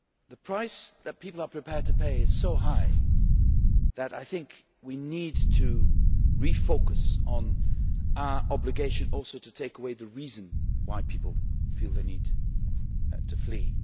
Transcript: The price that people are prepared to pay is so high that I think we need to refocus on our obligation also to take away the reason why people feel the need to flee.